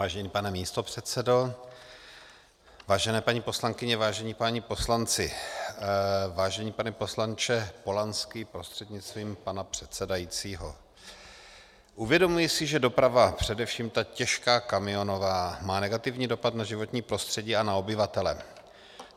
Vážený pane místopředsedo, vážené paní poslankyně, vážení páni poslanci, vážený pane poslanče Polanský prostřednictvím pana předsedajícího, uvědomuji si, že doprava, především ta těžká kamionová, má negativní dopad na životní prostředí a na obyvatele.